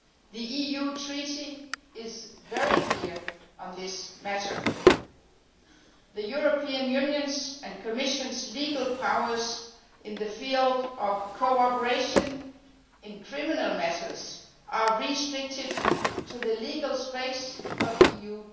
The EU Treaty is very clear on this matter the European Union's and Commission's legal powers in the field of cooperation in criminal matters are restricted to the legal space of the EU